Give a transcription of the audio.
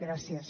gràcies